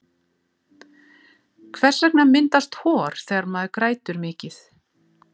Hvers vegna myndast hor þegar maður grætur mikið?